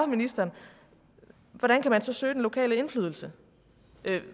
ministeren hvordan kan man så søge den lokale indflydelse